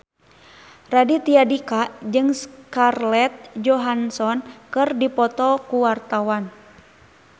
Raditya Dika jeung Scarlett Johansson keur dipoto ku wartawan